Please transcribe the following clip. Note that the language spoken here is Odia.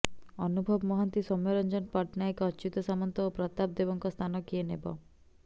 ଅନୁଭବ ମହାନ୍ତି ସୌମ୍ୟରଞ୍ଜନ ପଟ୍ଟନାୟକ ଅଚ୍ୟୁତ ସାମନ୍ତ ଓ ପ୍ରତାପ ଦେବଙ୍କ ସ୍ଥାନ କିଏ ନେବ